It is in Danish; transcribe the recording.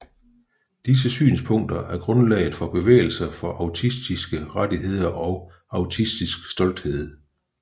Disse synspunkter er grundlaget for bevægelser for autistiske rettigheder og autistisk stolthed